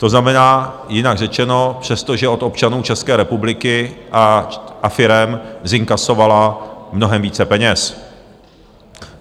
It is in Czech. To znamená, jinak řečeno, přesto, že od občanů České republiky a firem zinkasovala mnohem více peněz.